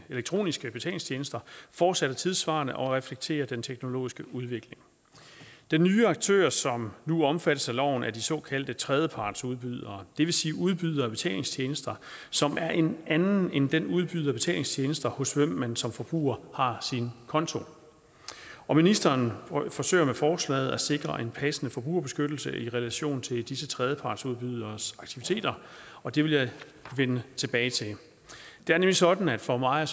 elektroniske betalingstjenester fortsat er tidssvarende og reflekterer den teknologiske udvikling de nye aktører som nu skal omfattes af loven er de såkaldte tredjepartsudbydere det vil sige udbydere af betalingstjenester som er en anden end den udbyder af betalingstjenester hos hvem man som forbruger har sin konto ministeren forsøger med forslaget at sikre en passende forbrugerbeskyttelse i relation til disse tredjepartsudbyderes aktiviteter og det vil jeg vende tilbage til det er nemlig sådan at for mig